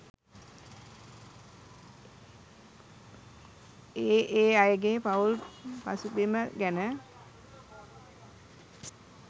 ඒ ඒ අයගේ පවුල් පසුබිම ගැන